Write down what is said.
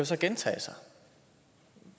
så gentage sig